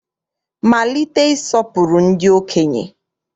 Malite ịsọpụrụ ndị okenye!